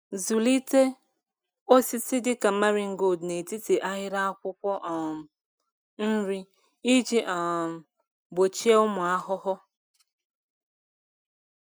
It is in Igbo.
Zụlite osisi dịka marigold n’etiti ahịrị akwụkwọ um nri iji um gbochie ụmụ ahụhụ.